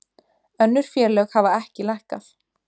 Önnur félög hafa ekki lækkað